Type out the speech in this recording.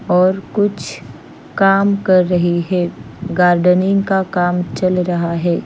और कुछ काम कर रहे है गार्डनिंग का काम चल रहा है।